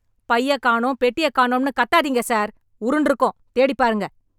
பையக் காணோம், பெட்டியக் காணோம்னு கத்தாதீங்க சார்... உருண்டுருக்கும், தேடிப் பாருங்க.